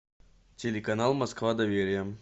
телеканал москва доверие